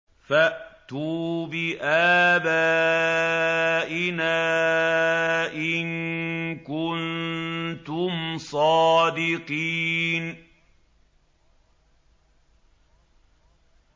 فَأْتُوا بِآبَائِنَا إِن كُنتُمْ صَادِقِينَ